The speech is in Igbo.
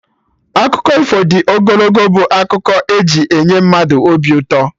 Akụkọ ifo dị ogologo bụ akụkọ e ji enye mmadụ obi ụtọ